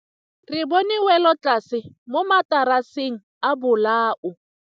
Re bone wêlôtlasê mo mataraseng a bolaô.